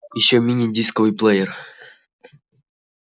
ещё мини-дисковый плеер